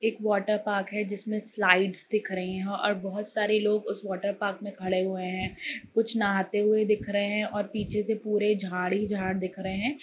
एक वाटरपार्क है जिसमे स्लाइड्स दिख रही है और बहुत सारे लोग उस वाटरपार्क में खड़े हुए है कुछ नहाते हुए दिख रहे है और पीछे से पूरे झाड़ ही झाड़ दिख रहे है।